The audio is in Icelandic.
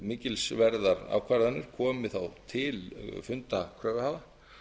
mikilsverðar ákvarðanir komi þá til funda kröfuhafa